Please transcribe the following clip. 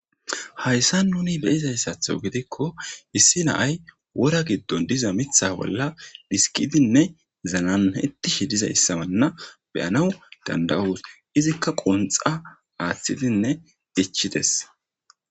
Hayssan nuuni be'izayssato gidikko issi na'ay woora giddon de'iza miththa bola dhiskidinne zananayetishe dizayssana be'anaw danda'os.izika qundha aththidinne ichchides.